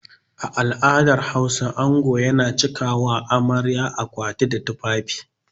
A al'adar Hausa ango yana cika ma amarya akwati da tufafi.